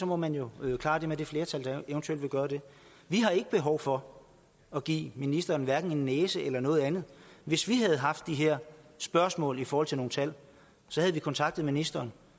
må man jo klare det med det flertal der eventuelt vil gøre det vi har ikke behov for at give ministeren en næse eller noget andet hvis vi havde haft de her spørgsmål i forhold til nogle tal havde vi kontaktet ministeren